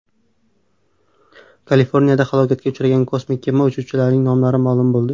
Kaliforniyada halokatga uchragan kosmik kema uchuvchilarining nomlari ma’lum bo‘ldi.